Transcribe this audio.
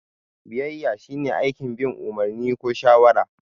Biyayya shine aikin bin umarni ko shawara.